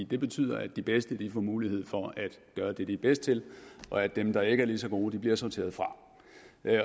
det betyder at de bedste får mulighed for at gøre det de er bedst til og at dem der ikke er lige så gode bliver sorteret fra